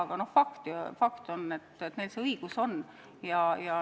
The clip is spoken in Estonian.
Aga fakt on, et neil see õigus on.